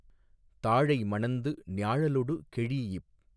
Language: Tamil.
தாழை மணந்து ஞாழலொடு கெழீஇப்